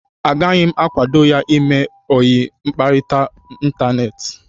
Agaghị m akwado ya ime ọyi mkparịta n'Ịntaneti.